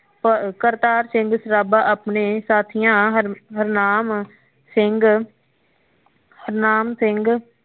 ਕਰਤਾਰ ਸਿੰਘ ਸਰਾਭਾ ਆਪਣੇ ਸਾਥਿਆ ਹਰਨਾਮ ਸਿੰਘ ਹਰਨਾਮ ਸਿੰਘ